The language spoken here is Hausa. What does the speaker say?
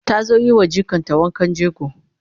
ta zo yiwa jikar ta wankan jego